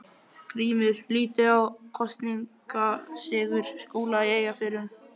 GRÍMUR: Lítið á kosningasigur Skúla í Eyjafirðinum.